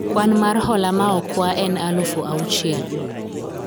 kwan mar hola ma okwa en alufu auchiel